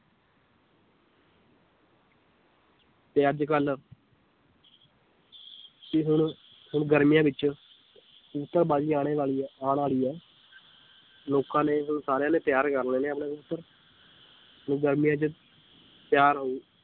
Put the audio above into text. ਤੇ ਅੱਜ ਕੱਲ੍ਹ ਵੀ ਹੁਣ ਹੁਣ ਗਰਮੀਆਂ ਵਿੱਚ ਕਬੂਤਰ ਬਾਜ਼ੀ ਆਉਣੇ ਵਾਲੀ ਹੈ ਆਉਣ ਵਾਲੀ ਹੈ ਲੋਕਾਂ ਨੇ ਹੁਣ ਸਾਰਿਆਂ ਨੇ ਤਿਆਰ ਕਰ ਲੈਣੇ ਆਪਣੇ ਕਬੂਤਰ ਤੇ ਗਰਮੀਆਂ ਚ ਤਿਆਰ ਹੋ